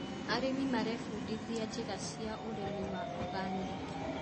Arĩmi marebundithia njĩra cia ũrĩmĩ wa oganĩki.